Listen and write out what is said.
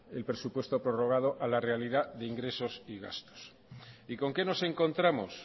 el presupuesto prorrogado a la realidad de ingresos y gastos y con qué nos encontramos